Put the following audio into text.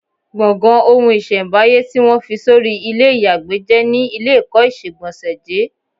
Gbọ̀ngàn ohun-ìṣẹ̀m̀báyé tí wọ́n fi sọrí ilé ìyàgbẹ́ jẹ́ ni ilékọ̀ọ́ ìṣegbọ̀nsẹ̀ jé.